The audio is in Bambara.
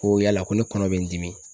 Ko yala ko ne kɔnɔ bɛ n dimi ?